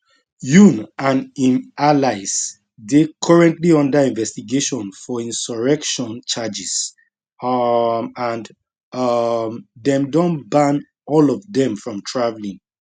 yoon and im allies dey currently under investigation for insurrection charges um and um dem don ban all of dem from travelling